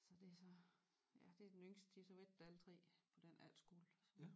Så det så ja det er den yngste de har så været der alle 3 på den efterskole